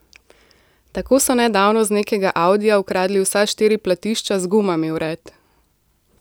Tako so nedavno z nekega audija ukradli vsa štiri platišča z gumami vred.